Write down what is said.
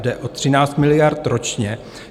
Jde o 13 miliard ročně.